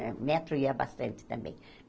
Ah Metro eu ia bastante também.